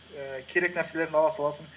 ііі керек нәрселерін ала саласың